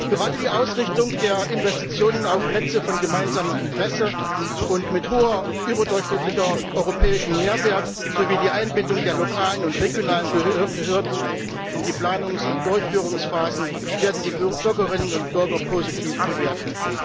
Gerade die Ausrichtung der Investitionen auf Netze von gemeinsamem Interesse und mit hohem, überdurchschnittlichem europäischem Mehrwert sowie die Einbindung der lokalen und regionalen Behörden in die Planungs und Durchführungsphasen werden die Bürgerinnen und Bürger positiv bewerten.